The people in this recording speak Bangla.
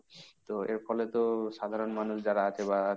তো এর ফলে তো সাধারণ মানুষ যারা আছে বা,